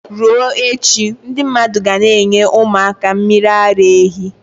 Ruo echi, ndi mmadu ga n' enye umu aka mmiri ara ehi